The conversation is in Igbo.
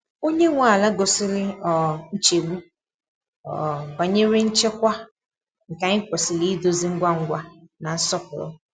Onye nwe ala gosiri um nchegbu um banyere nchekwa, nke anyị kwesịrị idozi ngwa ngwa na nsọpụrụ.